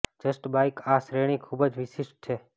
just bike આ શ્રેણી ખૂબ જ વિશિષ્ટ છે